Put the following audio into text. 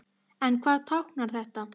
En hvað táknar þetta?